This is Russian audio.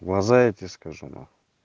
в глаза я тебе скажу нахуй